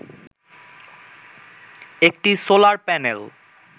একটি solar panel